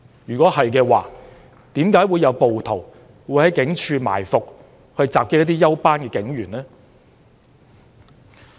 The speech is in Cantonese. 如果做得到的話，為何會有暴徒在警署附近埋伏，襲擊一些休班警員呢？